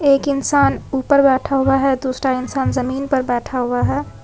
एक इंसान ऊपर बैठा हुआ है दूसरा इंसान जमीन पर बैठा हुआ है।